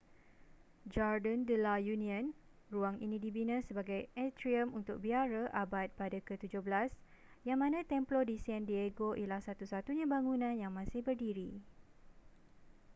jardín de la unión. ruang ini dibina sebagai atrium untuk biara abad pada ke-17 yang mana templo de san diego ialah satu-satunya bangunan yang masih berdiri